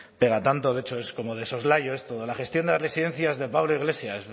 pega tanto de hecho es como de soslayo esto de la gestión de las residencias de pablo iglesias